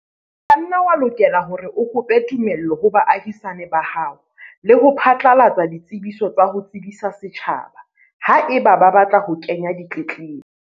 O ka nna wa lokela hore o kope tumello ho baahisane ba hao le ho phatlalatsa ditsebiso tsa ho tsebisa setjhaba, haeba ba batla ho kenya ditletlebo.